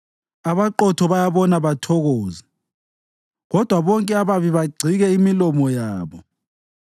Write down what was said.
Abaqotho bayabona bathokoze, kodwa bonke ababi bagcike imilomo yabo.